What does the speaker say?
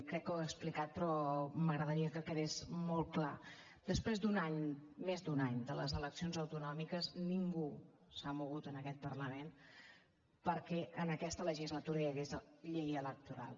crec que ho he explicat però m’agradaria que quedés molt clar després d’un any més d’un any de les eleccions autonòmiques ningú s’ha mogut en aquest parlament perquè en aquesta legislatura hi hagués llei electoral